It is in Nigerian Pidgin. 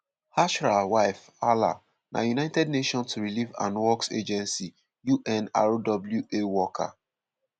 ashraf wife hala na united nations relief and works agency (unrwa) worker.